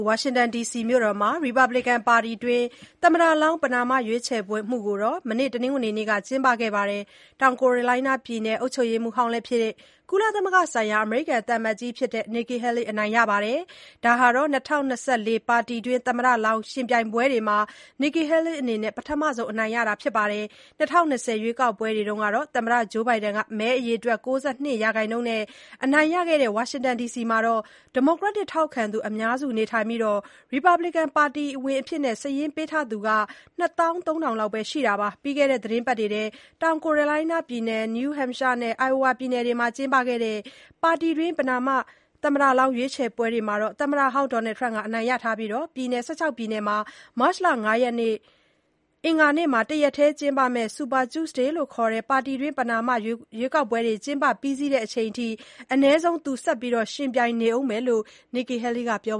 ဝါရှင်တန်ဒီစီမြို့မှာ ရီပတ်ဘလီကန်ပါတီတွင်း သမ္မတလောင်း ပဏာမရွေးချယ်မှုကို မနေ့ တနင်္ဂနွေနေ့က ကျင်းပတာမှာ တောင်ကယ်ရိုလိုင်းနားပြည်နယ် အုပ်ချုပ်ရေးမှုးဟောင်းလည်းဖြစ် ကုလသမဂ္ဂဆိုင်ရာ အမေရိကန်သံအမတ်ကြီးလည်း ဖြစ်တဲ့ Nikki Haley အနိုင်ရပါတယ်။ ဒါဟာ ၂၀၂၄ ပါတီတွင်း သမ္မတလောင်းယှဉ်ပြိုင်ပွဲတွေမှာ Nikki Haley အနေနဲ့ ပထမဆုံးအနိုင်ရတာဖြစ်ပါတယ်။ ၂၀၂၀ ရွေးကောက်ပွဲတုန်းက သမ္မတ Joe Biden မဲအရေအတွက် ၉၂ ရာခိုင်နှူန်း အနိုင်ရခဲ့တဲ့ ဝါရှင်တန်ဒီစီမှာ ဒီမိုကရက်တစ်ထောက်ခံသူ အများစုနေထိုင်ပြီး ရီပတ်ဘလီကန်ပါတီဝင်အဖြစ် စာရင်းပေးထားသူက ၂၃,၀၀၀ လောက်ပဲ ရှိတာပါ။ ပြီးခဲ့တဲ့သီတင်းပတ်တွေထဲ တောင်ကယ်ရိုလိုင်းနားပြည်နယ်၊ New Hampshire နဲ့ Iowa ပြည်နယ်တွေမှာ ကျင်းပခဲ့တဲ့ ပါတီတွင်း ပဏာမ သမ္မတလောင်း ရွေးချယ်ပွဲတွေမှာတော့ သမ္မတဟောင်း Donald Trump ကပဲ အနိုင်ရထားပါတယ်။ ပြည်နယ် ၁၆ ပြည်နယ်မှာ မတ်လ ၅ ရက် အင်္ဂါနေ့မှာ တရက်တည်း ကျင်းပမယ့် Super Tuesday လို့ခေါ်တဲ့ ပါတီတွင်း ပဏာမ ရွေးကောက်ပွဲတွေ ကျင်းပပြီးစီးတဲ့အထိ အနည်းဆုံး သူ ဆက်ယှဉ်ပြိုင်နေဦးလို့လည်း Nikki Haley က ပြော